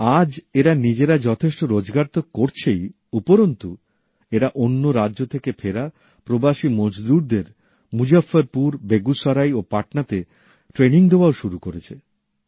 আজ এরা নিজেরা যথেষ্ট রোজগার তো করছেনই উপরন্তু এরা অন্য রাজ্য থেকে ফেরা পরিযায়ী শ্রমিকদের মুজফফরপুর বেগুসরাই ও পাটনাতে প্রশিক্ষণ দেওয়াও শুরু করেছে